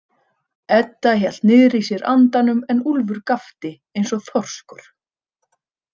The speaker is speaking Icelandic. Edda hélt niðri í sér andanum en Úlfur gapti eins og þorskur.